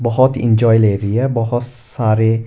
बहुत इंजॉय ले रही है बहुत सारे--